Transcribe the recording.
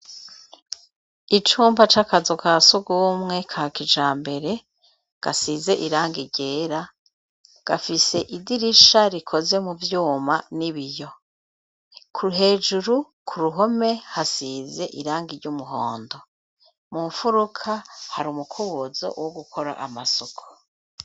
Icumba c'akazu ka sugumwe ka kijambere gasize irangi ryera ,gafise idirisha rikoze mu vyuma n'ibiyo. Hejuru ku ruhome ,hasize irangi ry'umuhondo, mu nfuruka hari umukubuzo wo gukora amasuku.